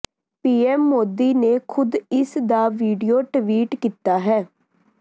PM Modi ਨੇ ਖੁਦ ਇਸ ਦਾ ਵੀਡੀਓ ਟਵੀਟ ਕੀਤਾ ਹੈ